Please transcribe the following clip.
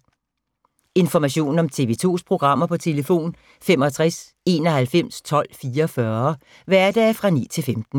Information om TV 2's programmer: 65 91 12 44, hverdage 9-15.